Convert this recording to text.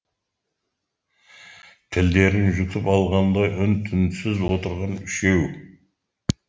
тілдерін жұтып алғандай үн түнсіз отырған үшеу